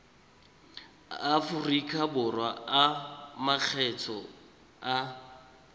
aforika borwa a makgetho a